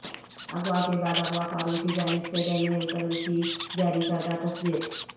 اغوا کے بعد اغواکاروں کی جانب سے ڈینیئل پرل کی جاری کردہ تصویر